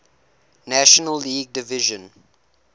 national league division